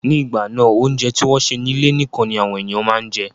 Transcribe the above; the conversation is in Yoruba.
Ní ìgbà náà, óúnjẹ tí wọ́n sè ní ilé nikan ni àwọn ènìyàn máa ń jẹ